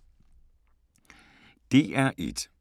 DR1